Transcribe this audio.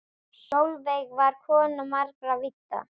Sólveig var kona margra vídda.